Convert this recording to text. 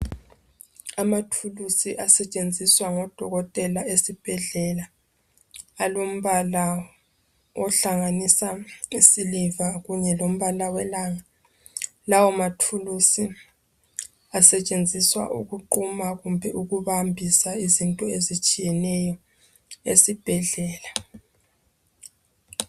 Amathulusi asetshenziswa ngodokotela esibhedlela alombala ohlanganisa isiliva kunye lombala welanga. Lawo mathulusi asetshenziswa ukuquma kumbe ukubambisa izinto ezitshiyeneyo esibhedlela.